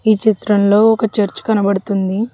ఈ చిత్రంలో ఒక చర్చ్ కనపడుతుంది